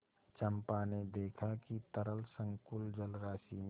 चंपा ने देखा कि तरल संकुल जलराशि में